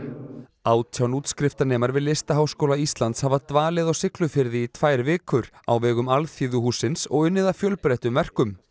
átján útskriftarnemar við Listaháskóla Íslands hafa dvalið á Siglufirði í tvær vikur á vegum alþýðuhússins og unnið að fjölbreyttum verkum